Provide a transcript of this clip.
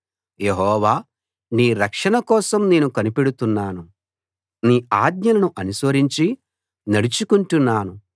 యెహోవా నీ రక్షణ కోసం నేను కనిపెడుతున్నాను నీ ఆజ్ఞలను అనుసరించి నడుచుకుంటున్నాను